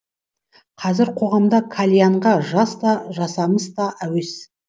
қазір қоғамда кальянға жас та жасамыс та әуес